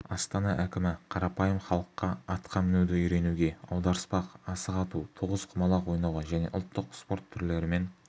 астана әкімі қарапайым халыққа атқа мінуді үйренуге аударыспақ асық ату тоғызқұмалақ ойнауға және ұлттық спорт түрлерімен